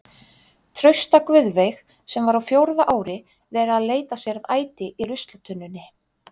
Trausta Guðveig sem var á fjórða ári vera að leita sér að æti í ruslatunnunni.